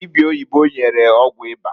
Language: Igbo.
Dibia oyibo nyere ọgwụ ịba.